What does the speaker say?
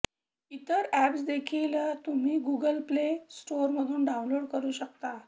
इतर अॅप्स देखील तुम्ही गुगल प्ले स्टोरवरून डाउनलोड करू शकता